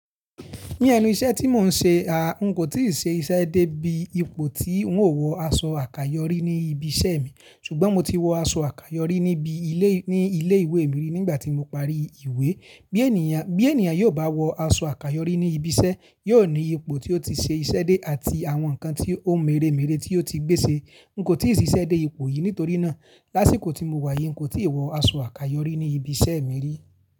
Ní ẹnu iṣẹ́ tí mò ń ṣe, a, n kò tíì ṣe iṣẹ́ dé bí ipò tí ń ó wọ aṣọ àkayòrí ní ibi iṣẹ́ mi, ṣùgbọ́n mo ti wọ aṣọ àkayòrí níbi ilé, ní ilé ìwé mi ri, nígbà tí mo parí ìwé. Bí ènìyàn, bí ènìyàn yóò bá wọ aṣọ àkayòrí ní ibi iṣẹ́, yóò ní ipò tí ó ti ṣe iṣẹ́ dé àti àwọn nǹkan tí, ó ń mere mere tí ó ti gbé ṣe. N kò tí ì ṣe iṣẹ́ dé ipò yìí nítorí ná, lásìkò tí mo wà yìí, n kò tí ì wọ aṣọ àkayòrí ní ibi iṣẹ́ mi rí.